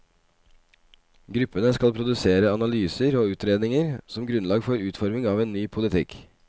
Gruppene skal produsere analyser og utredninger som grunnlag for utforming av en ny politikk.